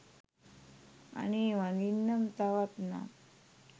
අනේ වඳින්නම් තවත් නම්